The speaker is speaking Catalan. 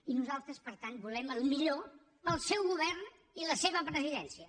i nosaltres per tant volem el millor per al seu govern i la seva presidència